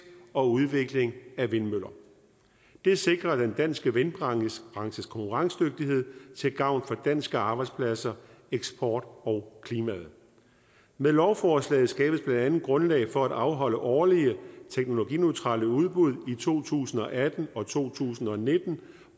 og udvikling af vindmøller det sikrer den danske vindbranches konkurrencedygtighed til gavn for danske arbejdspladser eksport og klima med lovforslaget skabes blandt andet grundlag for at afholde årlige teknologineutrale udbud i to tusind og atten og to tusind og nitten